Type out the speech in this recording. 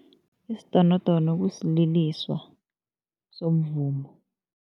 Isidonodono kusililiso somvumo.